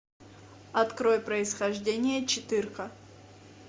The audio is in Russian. открой происхождение четырка